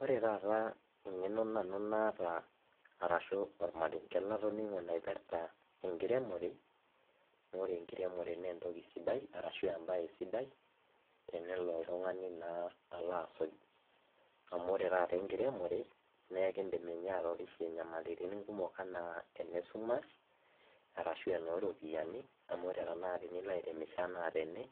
ore taata engeno nanu naata arashu ormarenke latonngo naipirta enkiremore, naa ore enkiremore naa entoki sidia, ashu ebae sidai tenelo, oltungani naa alo asuj. amu ore taata enkiremore, naa ekidim ninye atorishe nyamalitin kumok anaa ine sumash, arashu enoo ropiyiani, amu ore tenakata tenilo airemisho anaa tene.